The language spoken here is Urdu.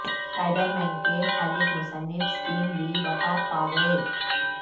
سپائڈر مین کے خالق مصنف سٹین لی وفات پاگئے